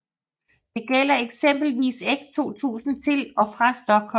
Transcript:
Det gælder eksempelvis X 2000 til og fra Stockholm